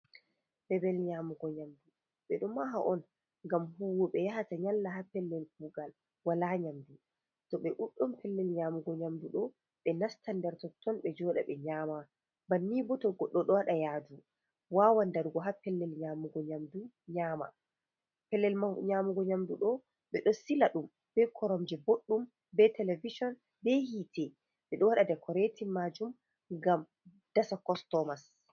Bebel nyamugo nyamdu ɓe do maha on ngam huwoɓe yahata nyalla ha pellel kugal wala nyamdu, to ɓe duɗɗum pellel nyamugo nyamdu do ɓe nastandertotton be joda ɓe nyama banni boto godo do wada yadu wawandarugo ha pelel nyamugo nyamdu do be do sila dum be koromje boddum be televishon be hiite ɓedo wada dekoretin maajum ngam dasa kostomas.